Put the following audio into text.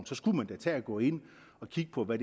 så skulle man da tage at gå ind og kigge på hvad